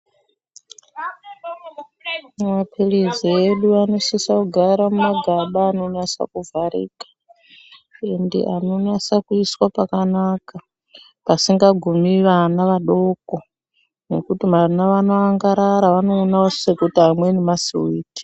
Mapiritsi edu anosise kugara mumagaba anosa kuvharika uye anonasa kuiswa pakanaka pasingagumi vana vadoko ngekuti vana vanoangarara anoona sekuti amwe masiwiti.